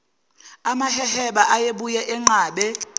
amaheheba ayebuye anqabe